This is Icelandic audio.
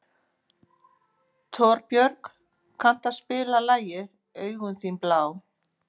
Torbjörg, kanntu að spila lagið „Augun þín blá“?